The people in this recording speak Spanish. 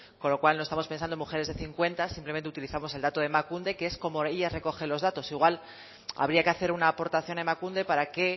con lo cual no estamos pensando en mujeres de cincuenta simplemente utilizamos el dato de emakunde que es como ellas recogen los datos igual habría que hacer una aportación a emakunde para que